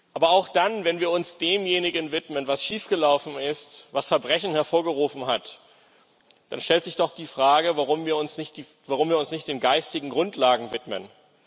Aber auch dann, wenn wir uns demjenigen widmen, was schiefgelaufen ist, was Verbrechen hervorgerufen hat, stellt sich doch die Frage, warum wir uns nicht den geistigen Grundlagen widmen.